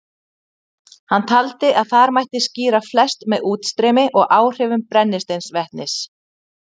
Hann taldi að þar mætti skýra flest með útstreymi og áhrifum brennisteinsvetnis.